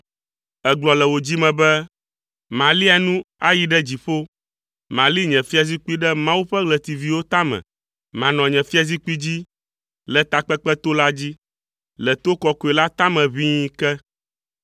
Ègblɔ le wò dzi me be, “Malia nu ayi ɖe dziƒo. Mali nye fiazikpui ɖe Mawu ƒe ɣletiviwo tame. Manɔ nye fiazikpui dzi le takpekpeto la dzi, le to kɔkɔe la tame ʋĩi ke.